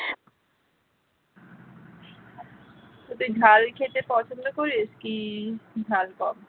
তুই ঝাল খেতে পছন্দ করিস কি ঝাল কম